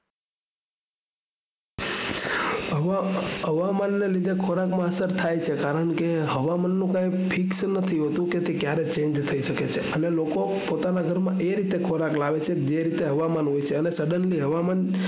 હવામાન ને લીધે ખોરાક માં અસર થાય છે કેમકે હવામાન ની કઈ fix નથી હોતું તે ક્યારે change થઇ શકે છે લોકો પોતાના ઘરમાં હવામાન ના હિસાબે ખોરાક લાવે છે suddnely